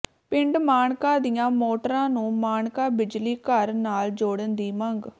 ਪਿੰਡ ਮਾਣਕਾ ਦੀਆਂ ਮੋਟਰਾਂ ਨੂੰ ਮਾਣਕਾ ਬਿਜਲੀ ਘਰ ਨਾਲ ਜੋੜਨ ਦੀ ਮੰਗ